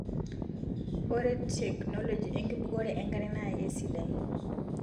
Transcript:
Ore teknoji enkibukore enkare na kisidaii